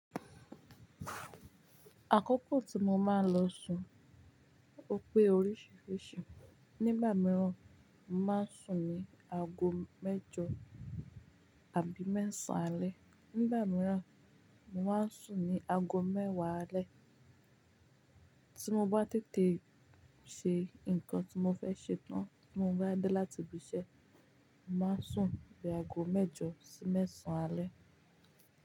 Àkókò tí mo máa ń lọ sùn ò pé oríṣìíríṣìí. Nígbà mìíràn, màá sùn ní aago mẹ́jọ àbí mẹ́sàn alẹ́, nígbà míràn, mo màá sùn ní aago mẹ́wàá alẹ́. Tí mo bá tètè se nǹkan tí mo fẹ́ ṣe tán, tí mo bá dé láti ibi iṣẹ́, màá sùn ní aago mẹ́jọ sí mẹ́sàn alẹ́.